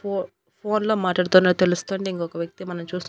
ఫో ఫోన్ లో మాట్లాడుతున్న తెలుస్తుంది ఇంకొక వ్యక్తి మనం చూస్తు--